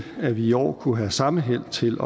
at vi i år kunne have samme held til